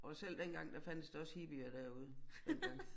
Og selv dengang der fandtes der også hippier derude dengang